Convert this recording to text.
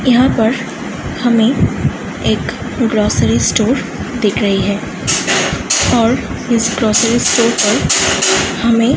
यहाँ पर हमें एक ग्रॉसरी स्टोर दिख रही है और इस ग्रोसरी स्टोर पर हमें --